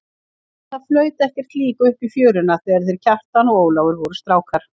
En það flaut ekkert lík upp í fjöruna þegar þeir Kjartan og Ólafur voru strákar.